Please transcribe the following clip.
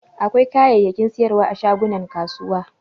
Akwai kayayyakin sayarwa a shagunan kasuwa.